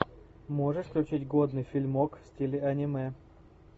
можешь включить годный фильмок в стиле аниме